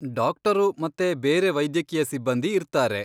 Doctor ಮತ್ತೆ ಬೇರೆ ವೈದ್ಯಕೀಯ ಸಿಬ್ಬಂದಿ ಇರ್ತಾರೆ.